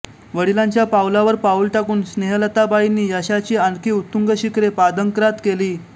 वडिलांच्या पावलावर पाऊल टाकून स्नेहलताबाईंनी यशाची आणखी उत्तुंग शिखरे पादाक्रांत केली